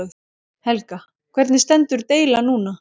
Helga: Hvernig stendur deilan núna?